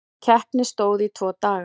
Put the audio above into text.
Keppni stóð í tvo daga.